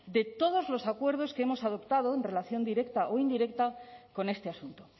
de todos los acuerdos que hemos adoptado en relación directa o indirecta con este asunto